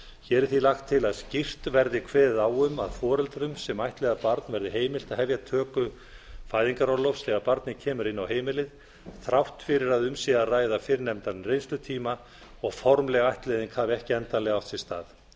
hér er því lagt til að skýrt verði kveðið á um að foreldrum sem ættleiða barn verði heimilt að hefja töku fæðingarorlofs þegar barnið kemur inn á heimilið þrátt fyrir að um sé að ræða fyrrnefndan reynslutíma og formleg ættleiðing hafi ekki endanlega átt sér stað